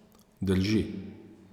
Drži.